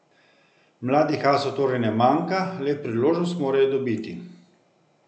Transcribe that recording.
Mladih asov torej ne manjka, le priložnost morajo dobiti.